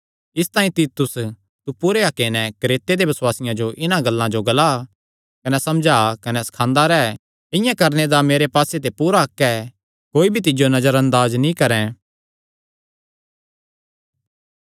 इसतांई तीतुस तू पूरे हक्के नैं क्रेते दे बसुआसियां जो इन्हां गल्लां जो ग्ला कने समझा कने सखांदा रैह् इआं करणे दा मेरे पास्से ते पूरा हक्क ऐ कोई भी तिज्जो नजर अंदाज नीं करैं